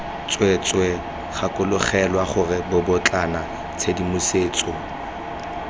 tsweetswee gakologelwa gore bobotlana tshedimosetso